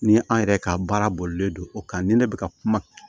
Ni an yɛrɛ ka baara bolilen don o kan ni ne bɛ ka kuma